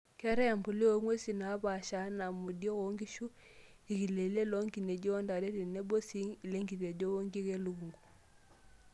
Keetae empuliya oong'uesi naapasha enaa; modiok oo nkishu, irkileleng' loo nkineji ontare tenbo sii lenkitejo wonkik elukungu.